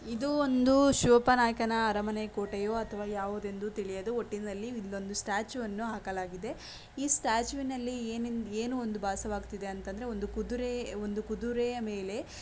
ಇದು ಒಂದು ಶಿವಪ್ಪ ನಾಯಕನ ಅರಮನೆ ಕೋಟೆಯ ಅಥವಾ ಯಾವುದು ಎಂದು ತಿಳಿಯಲು ಒಟ್ಟಿನಲ್ಲಿ ನಿಮ್ಮದೊಂದು ಸ್ಟ್ಯಾಚು ವನ್ನು ಹಾಕಲಾಗಿದೆ. ಈ ಸ್ಟ್ಯಾಚು ವಿನಲ್ಲಿ ಏನೆಂದು ಬಾಸವಾಗುತ್ತಿದೆ. ಅಂದರೆ ಒಂದು ಕುದುರೆ ಒಂದು ಕುದುರೆಯ ಮೇಲೆ--